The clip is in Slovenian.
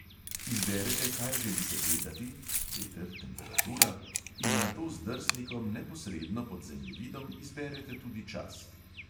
Izberete, kaj želite gledati (veter, temperatura …), in nato z drsnikom neposredno pod zemljevidom izberete tudi čas.